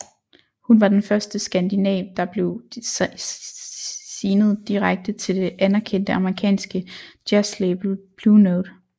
Hun var den første skandinav der blev signet direkte til det anerkendte amerikanske jazzlabel Blue Note